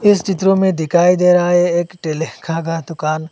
इस चित्रों में दिखाई दे रहा है एक ठेले का दुकान।